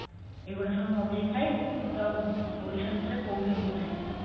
ଏଇଗୁଡା ସବୁ ମଗେଇ ଖାଇବୁ ତୁ ଆଉ ଓଡିଶା ଭିତରେ କୋଉଠି ଏମତି ଖାଇ ନଥିବୁ